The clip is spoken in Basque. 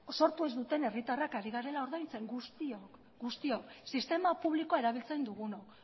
sortu ez duten herritarrak ari garela ordaintzen guztiok sistema publikoa erabiltzen dugunok